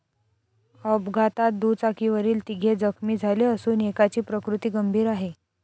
अपघातात दुचाकीवरील तिघे जखमी झाले असून एकाची प्रकृती गंभीर आहे.